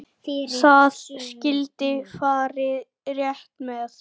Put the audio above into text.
Það skyldi farið rétt með.